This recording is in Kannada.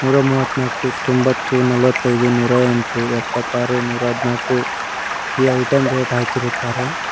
ನೂರಾಮುವತ್ತೂನಾಲಕ್ಕು ತೊಂಬತ್ತು ನಲವತೈದು ನೂರಾಯೆಂಟು ಎಪ್ಪಾತಾರು ನೂರದ್ನಾಕು ಈ ಐಟಂ ರೇಟ್ ಹಾಕಿರುತ್ತಾರೆ.